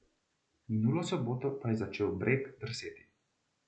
Minulo soboto pa je začel breg drseti.